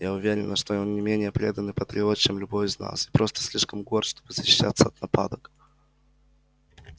я уверена что он не менее преданный патриот чем любой из нас и просто слишком горд чтобы защищаться от нападок